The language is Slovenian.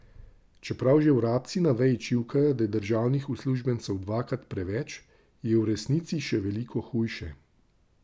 Čeprav že vrabci na veji čivkajo, da je državnih uslužbencev dvakrat preveč, je v resnici še veliko hujše.